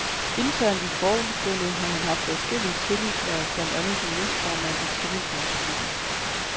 Internt i forbundet har han haft adskillige tillidshverv, blandt andet som næstformand i tillidsmandsklubben.